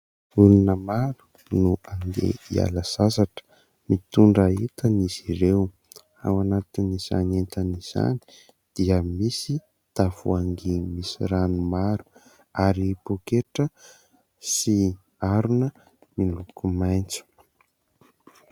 Olona maro no handeha hiala sasatra. Mitondra entana izy ireo. Ao anatin'izany entana izany dia misy tavoangy misy rano maro, ary poketra sy arona miloko maintso.